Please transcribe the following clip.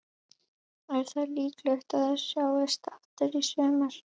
Jóhanna: Komstu til þess að vera hér yfir jólin?